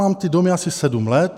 Mám ty domy asi sedm let.